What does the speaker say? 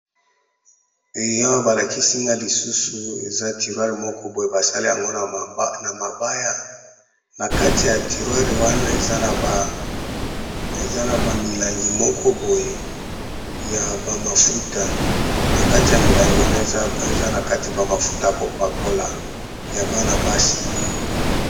Eh awa ba lakisi nga lisusu eza tiroire moko boye basali yango na mabaya, na kati ya tiroire wana eza na ba milangi moko boye ya ba mafuta na kati ya milangi wana eza na kati ya ba mafuta ya kopakola ya bana basi.